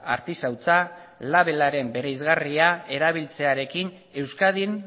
artisautza labelaren bereizgarria erabiltzearekin euskadin